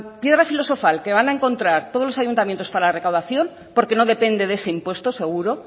piedra filosofal que van encontrar todos los ayuntamientos para la recaudación porque no depende de ese impuesto seguro